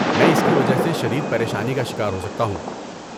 میں اس کی وجہ سے شدید پریشانی کا شکار ہو سکتا ہوں۔